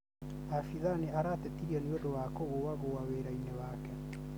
Abitha nĩ aratetirio nĩũndũ wa kũgũagũa wĩra-inĩ wake